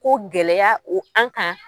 Ko gɛlɛya o an kan.